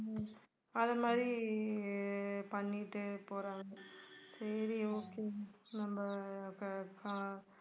அதை மாதிரி அஹ் பண்ணிட்டு போறாங்க சரி okay நம்ம ஆஹ் அப்ப ஆஹ்